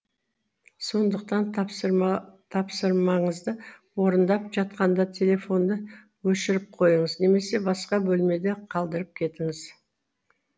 сондықтан тапсырмаңызды орындап жатқанда телефонды өшіріп қойыңыз немесе басқа бөлмеде қалдырып кетіңіз